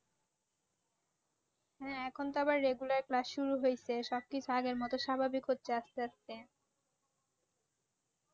হ্যাঁ, এখন তো আবার regular class শুরু হইছে, সব কিছু আগের মতো সাভাবিক হচ্ছে আসতে আসতে।